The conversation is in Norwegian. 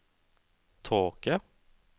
tåke